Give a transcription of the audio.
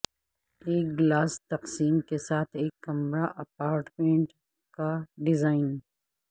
ایک گلاس تقسیم کے ساتھ ایک کمرہ اپارٹمنٹ کا ڈیزائن